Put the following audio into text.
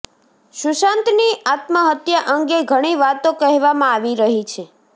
સુશાંતની આત્મહત્યા અંગે ઘણી વાતો કહેવામાં આવી રહી છે